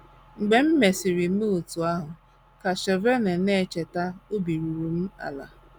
“ Mgbe m mesịrị mee otú ahụ, ” ka Shevone na - echeta, “ obi ruru m ala. ”